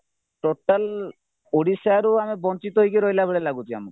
total ଓଡିଶାରୁ ଆମେ ବଂଚିତ ହେଇକି ରହିଲାଭଳି ଲାଗୁଚି ଆମକୁ